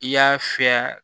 I y'a fiyɛ